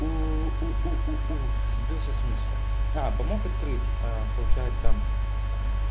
уу сбился с мысли а помог открыть а получается